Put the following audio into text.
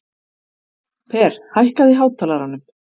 Per, hækkaðu í hátalaranum.